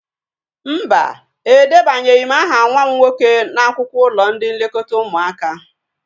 Mba, edebanyeghi m aha nwa m nwoke n'akwụkwọ ụlọ ndị nlekọta ụmụaka